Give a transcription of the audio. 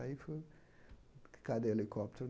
Aí foi, cadê o helicóptero?